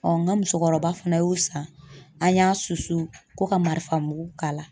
n ka musokɔrɔba fana y'u san an y'a susu ko ka marifa mugu k'a la.